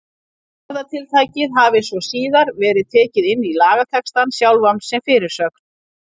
Orðatiltækið hafi svo síðar verið tekið inn í lagatextann sjálfan sem fyrirsögn.